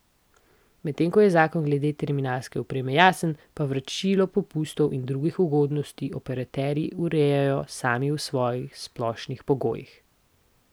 Medtem ko je zakon glede terminalske opreme jasen, pa vračilo popustov in drugih ugodnosti operaterji urejajo sami v svojih splošnih pogojih.